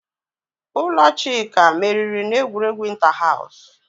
Ụlọ Chuka meriri n'egwuregwu inta-haws.